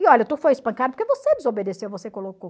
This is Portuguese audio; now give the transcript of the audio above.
E olha, tu foi espancado porque você desobedeceu, você colocou.